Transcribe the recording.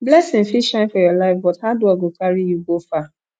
blessing fit shine for your life but hard work go carry you far